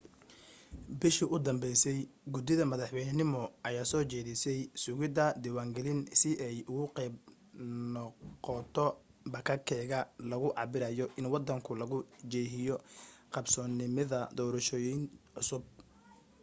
bishii u danbaysay guddida madaxweynenimo ayaa soo jeedisay sugidda diwaangalin si ay qayb uga noqoto bakageka lagu cabirayo in wadanku lagu jiheeyo qbsoomidda doorashooyin cusub